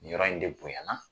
Nin yɔrɔ in de bonyana